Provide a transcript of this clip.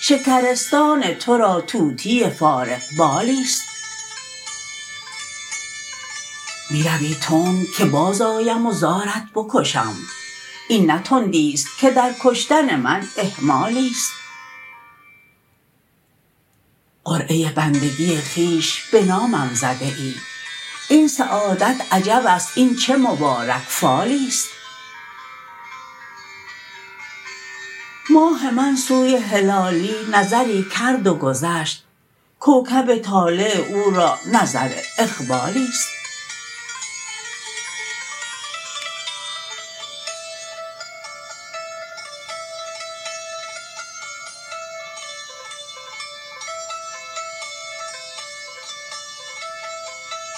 شکرستان ترا طوطی فارغ بالیست می روی تند که باز آیم و زارت بکشم این نه تندیست که در کشتن من اهمالیست قرعه بندگی خویش بنامم زده ای این سعادت عجبست این چه مبارک فالیست ماه من سوی هلالی نظری کرد و گذشت کوکب طالع او را نظر اقبالیست